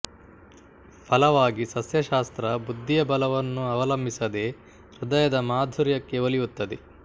ಫಲವಾಗಿ ಸಸ್ಯಶಾಸ್ತ್ರ ಬುದ್ಧಿಯ ಬಲವನ್ನು ಅವಲಂಬಿಸದೆ ಹೃದಯದ ಮಾಧುರ್ಯಕ್ಕೆ ಒಲಿಯುತ್ತದೆ